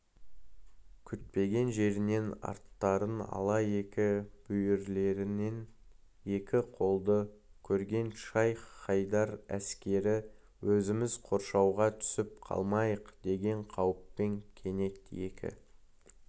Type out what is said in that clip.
күтпеген жерінен арттарын ала екі бүйірлерінен екі қолды көрген шайх-хайдар әскері өзіміз қоршауға түсіп қалмайықдеген қауіппен кенет екі